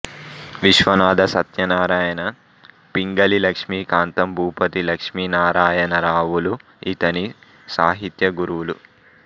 విశ్వనాథ సత్యనారాయణ పింగళి లక్ష్మీకాంతం భూపతి లక్ష్మీనారాయణరావులు ఇతని సాహిత్య గురువులు